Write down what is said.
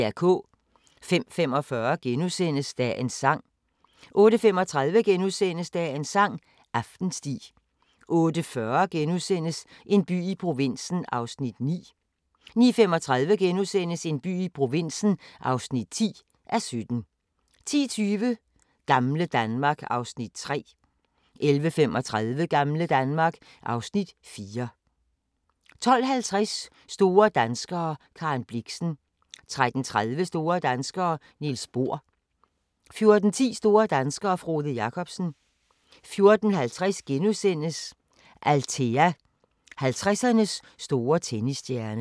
05:45: Dagens sang * 08:35: Dagens sang: Aftensti * 08:40: En by i provinsen (9:17)* 09:35: En by i provinsen (10:17)* 10:20: Gamle Danmark (Afs. 3) 11:35: Gamle Danmark (Afs. 4) 12:50: Store danskere - Karen Blixen 13:30: Store danskere - Niels Bohr 14:10: Store danskere - Frode Jakobsen 14:50: Althea: 50'ernes store tennisstjerne *